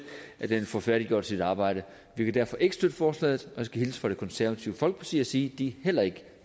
at den får færdiggjort sit arbejde vi kan derfor ikke støtte forslaget og jeg skal hilse fra det konservative folkeparti og sige at de heller ikke